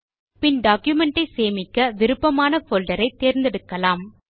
பின் document ஐ சேமிக்க விருப்பமான போல்டர் ஐ தேர்ந்தெடுக்கலாம்